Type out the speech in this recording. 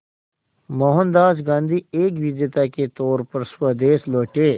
मोहनदास गांधी एक विजेता के तौर पर स्वदेश लौटे